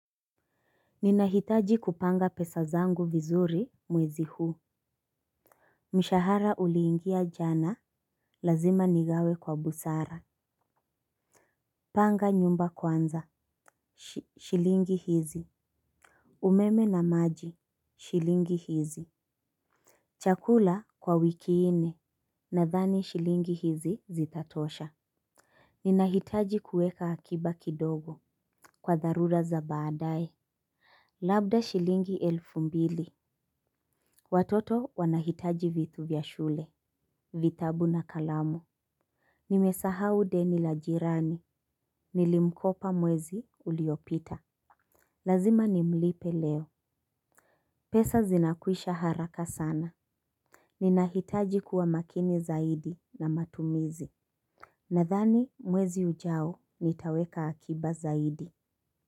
Ninahitaji kupanga pesa zangu vizuri mwezi huu. Mshahara uliingia jana lazima nigawe kwa busara. Panga nyumba kwanza shilingi hizi. Umeme na maji shilingi hizi. Chakula kwa wiki nne nadhani shilingi hizi zitatosha. Ninahitaji kuweka akiba kidogo kwa dharura za baadaye. Labda shilingi elfu mbili. Watoto wanahitaji vitu vya shule. Vitabu na kalamu. Nimesahau deni la jirani. Nilimkopa mwezi uliopita. Lazima nimlipe leo. Pesa zinakuisha haraka sana. Ninahitaji kuwa makini zaidi na matumizi. Nadhani mwezi ujao nitaweka akiba zaidi.